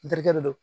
Terikɛ de don